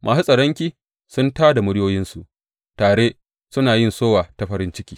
Masu tsaronki sun tā da muryoyinsu; tare sun yi sowa ta farin ciki.